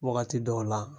Wagati dɔw la